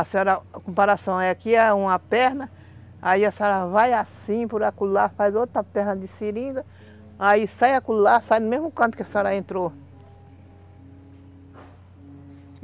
A senhora, a comparação, aqui é uma perna, aí a senhora vai assim, por acolá, faz outra perna de seringa, aí sai acolá, sai no mesmo canto que a senhora entrou.